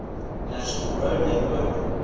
national road network